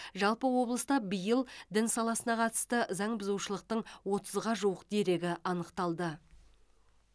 жалпы облыста биыл дін саласына қатысты заң бұзушылықтың отызға жуық дерегі анықталды